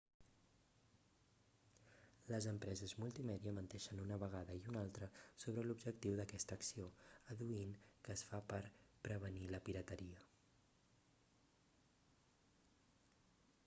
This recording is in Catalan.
les empreses multimèdia menteixen una vegada i una altra sobre l'objectiu d'aquesta acció adduint que es fa per prevenir la pirateria